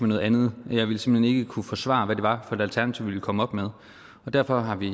noget andet og jeg ville simpelt hen ikke kunne forsvare hvad det var for et alternativ vi ville komme op med og derfor har vi